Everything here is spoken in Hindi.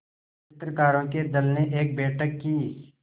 चित्रकारों के दल ने एक बैठक की